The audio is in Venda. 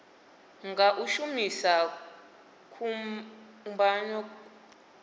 nga u shumisa kubugwana kwo